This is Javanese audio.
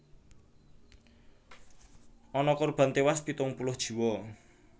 Ana korban téwas pitung puluh jiwa